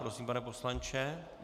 Prosím, pane poslanče.